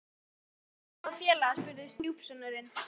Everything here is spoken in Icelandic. Er þá ekki sjálfsagt að hýsa þá félaga? spurði stjúpsonurinn.